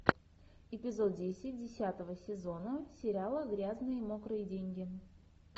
эпизод десять десятого сезона сериала грязные мокрые деньги